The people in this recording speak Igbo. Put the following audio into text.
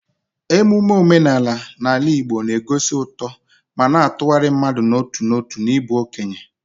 Emume omenala n'ala Igbo na-egosi uto ma na-atụgharị mmadụ n'otu n'otu n'ịbụ okenye.